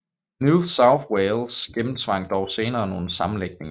New South Wales gennemtvang dog senere nogle sammenlægninger